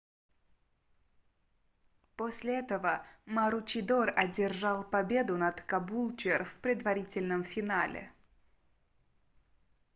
после этого маручидор одержал победу над кабулчер в предварительном финале